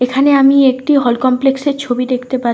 এখানে আমি একটি হল কমপ্লেক্স -এর ছবি দেখতে পাচ--